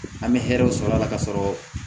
An bɛ hɛrɛw sɔrɔ a la ka sɔrɔ